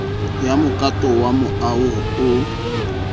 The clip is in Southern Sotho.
ya mokato wa moaho oo